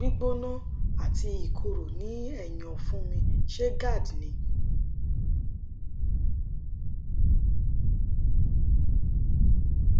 gbígbóná ati ìkorò ní ẹyìn ọfun mi ṣé gerd ni